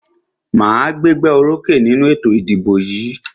Màá gbégbá orókè nínú ètò ìdìbò yìí.